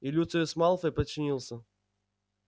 и люциус малфой подчинился